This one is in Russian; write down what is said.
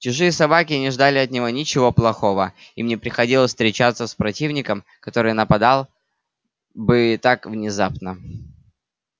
чужие собаки не ждали от него ничего плохого им не приходилось встречаться с противником который нападал бы так внезапно